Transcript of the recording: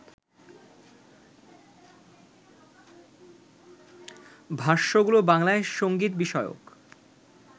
ভাষ্যগুলো বাংলায় সংগীতবিষয়ক